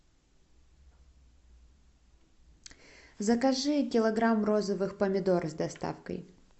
закажи килограмм розовых помидор с доставкой